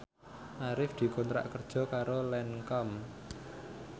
Arif dikontrak kerja karo Lancome